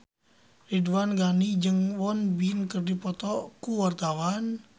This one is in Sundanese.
Ridwan Ghani jeung Won Bin keur dipoto ku wartawan